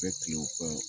Bɛ kile o kan